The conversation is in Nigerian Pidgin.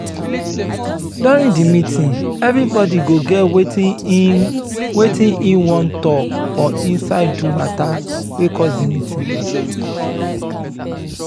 during di meeting everybody go get wetin im wetin im wan talk for inside do matter wey cause di meeting